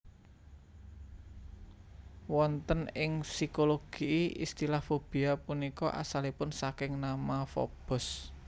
Wonten ing psikologi istilah fobia punika asalipun saking nama Fobos